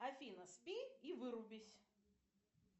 афина спи и вырубись